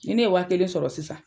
Ni ne ye waa kelen sɔrɔ sisan.